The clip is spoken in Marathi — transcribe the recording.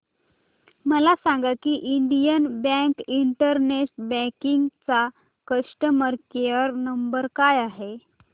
मला सांगा की इंडियन बँक इंटरनेट बँकिंग चा कस्टमर केयर नंबर काय आहे